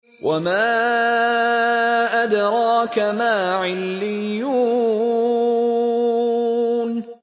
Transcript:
وَمَا أَدْرَاكَ مَا عِلِّيُّونَ